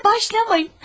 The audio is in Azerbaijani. Yenə başlamayın!